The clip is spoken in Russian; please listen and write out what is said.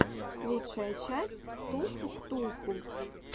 лучшая часть ктулху ктулху